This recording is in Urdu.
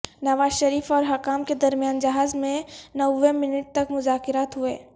نواز شریف اور حکام کے درمیان جہاز میں نوے منٹ تک مذاکرات ہوئے